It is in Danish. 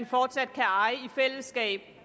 fortsat kan eje i fællesskab